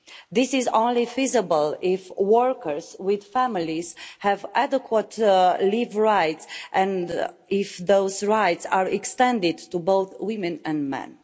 This is only feasible if workers with families have adequate leave rights and if those rights are extended to both women and men.